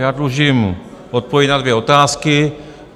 Já dlužím odpověď na dvě otázky.